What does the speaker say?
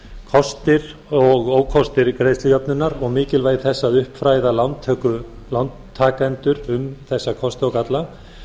kostir og ókostir greiðslujöfnunar og mikilvægi þess að uppfræða lántakendur um þessa kosti og galla